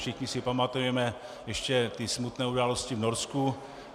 Všichni si pamatujeme ještě ty smutné události v Norsku.